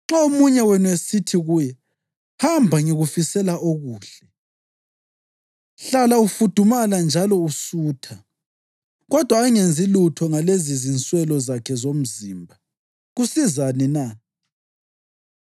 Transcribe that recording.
Nxa omunye wenu esithi kuye, “Hamba, ngikufisela okuhle; hlala ufudumala njalo usutha,” kodwa angenzi lutho ngalezi zinswelo zakhe zomzimba, kusizani na?